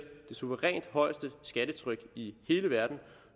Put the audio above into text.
suverænt højeste skattetryk i hele verden